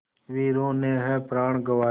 वीरों ने है प्राण गँवाए